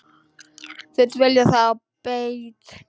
Þau dvelja þar á beit.